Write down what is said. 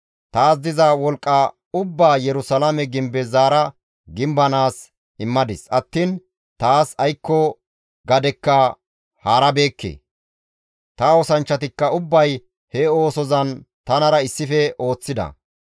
Taas diza wolqqa ubbaa Yerusalaame gimbe zaara gimbanaas immadis attiin taas aykko gadekka haarabeekke; ta oosanchchatikka ubbay he oosozan tanara issife ooththida.